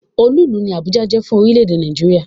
Olú ìlú ni Àbújá jẹ́ fún orílẹ̀-èdè Nàìjíríà.